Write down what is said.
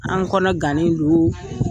An kɔnɔ gannen do